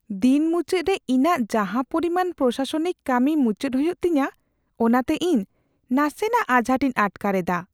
ᱫᱤᱱ ᱢᱩᱪᱟᱹᱫ ᱨᱮ ᱤᱧᱟᱹᱜ ᱡᱟᱦᱟᱸ ᱯᱚᱨᱤᱢᱟᱱ ᱯᱨᱚᱥᱟᱥᱚᱱᱤᱠ ᱠᱟᱹᱢᱤ ᱢᱩᱪᱟᱹᱫ ᱦᱩᱭᱩᱜ ᱛᱤᱧᱟᱹ ᱚᱱᱟᱛᱮ ᱤᱧ ᱱᱟᱥᱮᱜᱟᱱ ᱟᱡᱷᱟᱴ ᱤᱧ ᱟᱴᱠᱟᱨ ᱮᱫᱟ ᱾